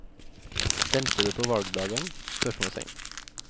Stemte du på valgdagen? spørsmålstegn